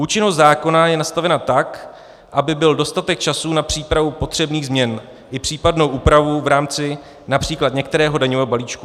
Účinnost zákona je nastavena tak, aby byl dostatek času na přípravu potřebných změn i případnou úpravu v rámci například některého daňového balíčku.